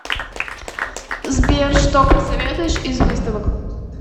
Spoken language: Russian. сбер что посоветуешь из выставок